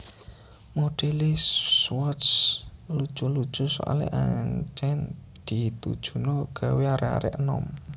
Modele Swatch lucu lucu soale ancen ditujuno gawe arek arek enom